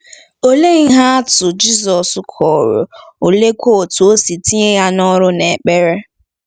Olee ihe atụ Jizọs kọrọ, oleekwa otú o si tinye ya n’ọrụ n’ekpere?